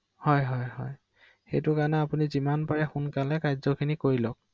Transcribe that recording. অ